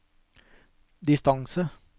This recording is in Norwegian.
distance